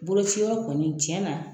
Boloci yɔrɔ kɔni cɛna